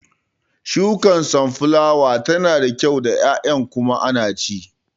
Shukar sunflower tana da kyau da ƴaƴan kuma ana ci